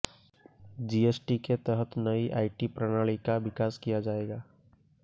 GST के तहत नई आईटी प्रणाली का विकास किया जाएगा